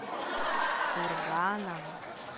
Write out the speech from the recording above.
курганом